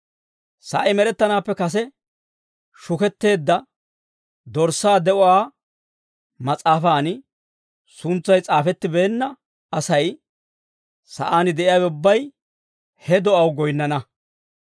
Sa'ay med'ettanaappe kase shuketteedda Dorssaa de'uwaa mas'aafan suntsay s'aafettibeenna asay, sa'aan de'iyaawe ubbay, he do'aw goyinnana.